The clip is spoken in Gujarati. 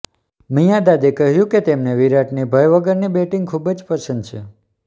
મિંયાદાદે કહ્યું કે તેમને વિરાટની ભય વગરની બેટિંગ ખૂબ જ પસંદ છે